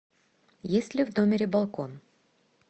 есть ли в номере балкон